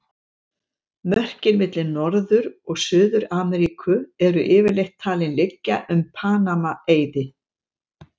Mörkin milli Norður- og Suður-Ameríku eru yfirleitt talin liggja um Panama-eiði.